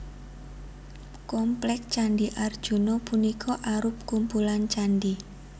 Komplék Candhi Arjuna punika arup kumpulan candhi